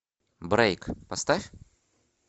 брейк поставь